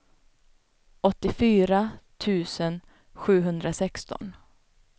åttiofyra tusen sjuhundrasexton